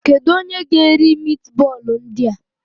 Kedu onye ga-eri mitbọọlụ ndị a?